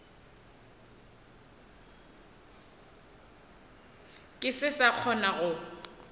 ke se sa kgona go